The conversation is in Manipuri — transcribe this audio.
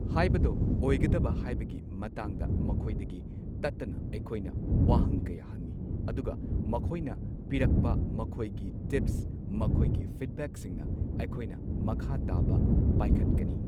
ꯍꯥꯏꯕꯗꯣ ꯑꯣꯏꯒꯗꯕ ꯍꯥꯏꯕꯒꯤ ꯃꯇꯥꯡꯗ ꯃꯈꯣꯏꯗꯒꯤ ꯇꯠꯇꯅ ꯑꯩꯈꯣꯏꯅ ꯋꯥꯍꯪ ꯀꯌꯥ ꯍꯪꯉꯤ ꯑꯗꯨꯒ ꯃꯈꯣꯏꯅ ꯄꯤꯔꯛꯄ ꯃꯈꯣꯏꯒꯤ ꯇꯤꯞꯁ ꯃꯈꯣꯏꯒꯤ ꯐꯤꯗꯕꯦꯛꯁꯤꯡꯅ ꯑꯩꯈꯣꯏꯅ ꯃꯈꯥ ꯇꯥꯕ ꯄꯥꯢꯈꯠꯀꯅꯤ꯫